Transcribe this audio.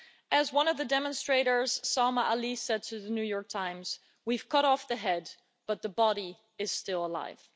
As one of the demonstrators, Salma Ali, said to The New York Times we've cut off the head but the body is still alive.